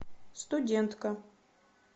студентка